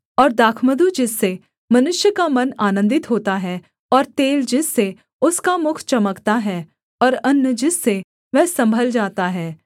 और दाखमधु जिससे मनुष्य का मन आनन्दित होता है और तेल जिससे उसका मुख चमकता है और अन्न जिससे वह सम्भल जाता है